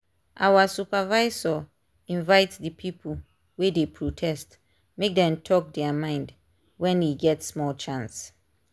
our supervisor invite the people wey dey protest make dem talk their mind when e get small chance.